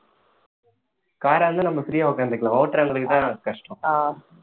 car ஆ இருந்தா நம்ம free ஆ உட்கார்ந்துக்கலாம் ஓட்டுறவங்களுக்குத்தான் கஷ்டம்